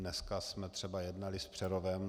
Dneska jsme třeba jednali s Přerovem.